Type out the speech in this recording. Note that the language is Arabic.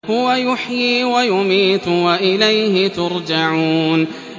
هُوَ يُحْيِي وَيُمِيتُ وَإِلَيْهِ تُرْجَعُونَ